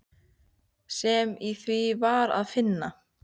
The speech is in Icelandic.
sem í því var að finna.